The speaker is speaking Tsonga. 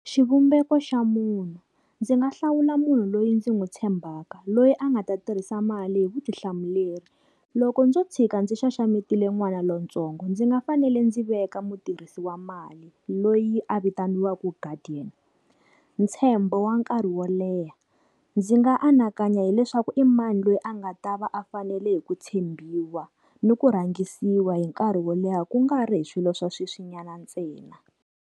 Xivumbeko xa munhu, ndzi nga hlawula munhu loyi ndzi n'wu tshembaka loyi a nga ta tirhisa mali hi vutihlamuleri. Loko ndzo tshika ndzi xaxametile n'wana lontsongo ndzi nga fanele ndzi veka mutirhisi wa mali loyi a vitaniwaka guardian. Ntshembo wa nkarhi wo leha ndzi nga anakanya hileswaku i mani loyi a nga ta va a fanele hi ku tshembiwa ni ku rhangisiwa hi nkarhi wo leha kungari hi swilo swa sweswi nyana ntsena.